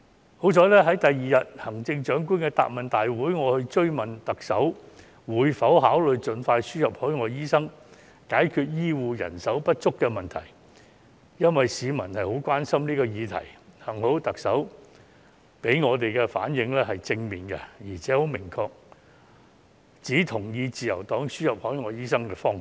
幸好，在翌日的行政長官答問會，我追問特首會否考慮盡快輸入海外醫生，解決醫護人手不足這個市民十分關心的議題，特首給我們的回應是正面的，而且明確指出同意自由黨提出輸入海外醫生的方向。